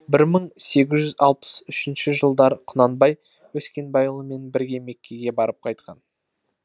бір мың сегіз жүз алпыс үшінші жылдары құнанбай өскенбайұлымен бірге меккеге барып қайтқан